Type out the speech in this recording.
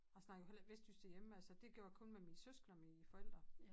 Jeg snakker jo heller ikke vestjysk derhjemme altså det gjorde jeg kun med mine søskende og mine forældre